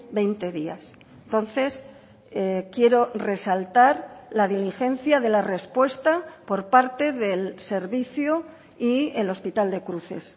veinte días entonces quiero resaltar la diligencia de la respuesta por parte del servicio y el hospital de cruces